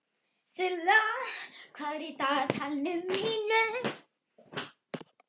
Silla, hvað er í dagatalinu mínu í dag?